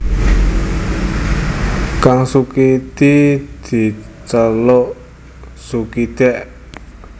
Kang Sukidi diceluk Sukidèk